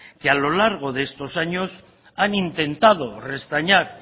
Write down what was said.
que a lo largo de estos años han intentado restañar